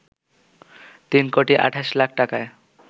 তিন কোটি ২৮ লাখ টাকায়